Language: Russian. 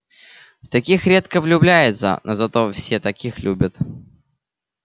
в таких редко влюбляются но зато все таких любят